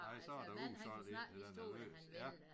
Nej så var der udsolgt indtil den var løst